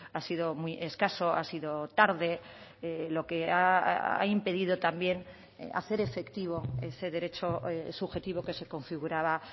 ha sido muy escaso ha sido tarde lo que ha impedido también hacer efectivo ese derecho subjetivo que se configuraba